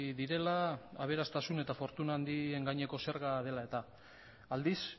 direla aberastasun eta fortuna handien gaineko zerga dela eta aldiz